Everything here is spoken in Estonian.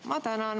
Ma tänan.